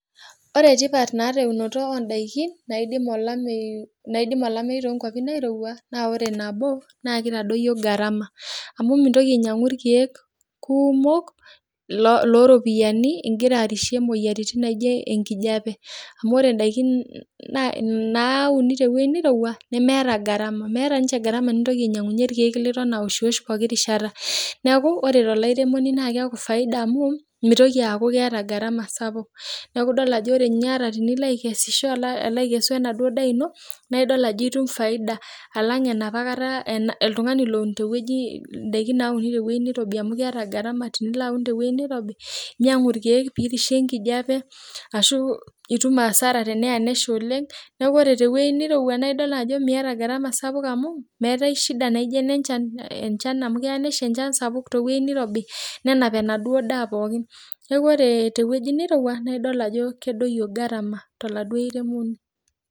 Ore tipat naata eunoto odaiki, naidim olameyu naidim olameyu tonkwapi nairowua, naa ore nabo na kitadoyio gharama. Amu mintoki ainyang'u irkeek kumok loropiyiani igira arishie moyiaritin naijo enkijape. Amu ore daikin nauni tewoi nirowua, nemeeta gharama. Meeta nche gharama nintoki ainyang'unye irkeek liton awoshwosh pooki rishata. Neeku ore tolairemoni na keeku faida amu, metoki aku keeta gharama sapuk. Neeku idol ajo ore ata tenilo akesisho akesu enaduo daa ino, naa idol ajo itum faida alang enapa kata oltung'ani loun tewueji idaiki nauni tewueji nirobi amu keeta gharama tinilo aun tewoi nirobi, inyang'u irkeek pirishie enkijape, ashu itum asara teneya nesha oleng. Neeku ore tewoi nirowua na idol ajo miata gharama sapuk amu, meetai shida naijo enenchan. Enchan amu keya nesha enchan sapuk tewoi nirobi, nenap enaduo daa pookin. Neeku ore tewoji nirowua, naa idol ajo kedoyio gharama toladuo airemoni.